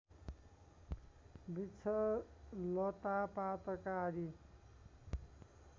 वृक्ष लतापातका आदि